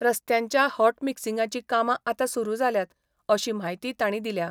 रस्त्यांच्या हॉटमिक्सिंगाची कामा आता सुरू जाल्यात, अशी म्हायती तांणी दिल्या.